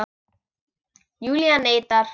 Júlía neitar.